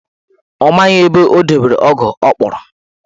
Ọ maghị ebe o dobere ọgụ ọ kpụrụ.